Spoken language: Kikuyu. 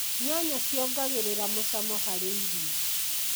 Nyanya ciongagĩrira mũcamo harĩ irio.